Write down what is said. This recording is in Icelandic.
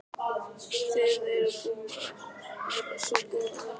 Þið eruð búin að vera svo góð við mig.